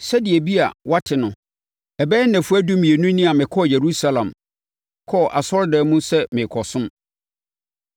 Sɛdeɛ ebia woate no, ɛbɛyɛ nnafua dumienu ni a mekɔɔ Yerusalem, kɔɔ asɔredan mu sɛ merekɔsom.